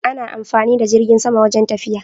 Ana amfani da jirgin sama wajen tafiya